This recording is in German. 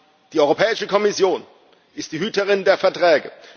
Denn die Europäische Kommission ist die Hüterin der Verträge.